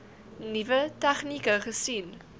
nuwe tegnieke gesien